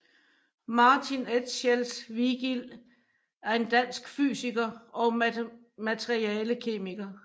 Martin Etchells Vigild er en dansk fysiker og materialekemiker